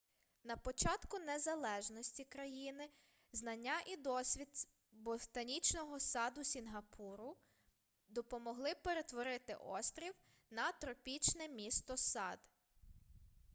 на початку незалежності країни знання і досвід ботанічного саду сінгапуру допомогли перетворити острів на тропічне місто-сад